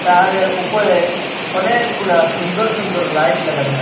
সাদের উপরে অনেকগুলা সুন্দর সুন্দর লাইট লাগানো আস--